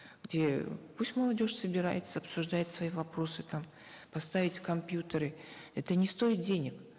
где пусть молодежь собирается обсуждает свои вопросы там поставить компьютеры это не стоит денег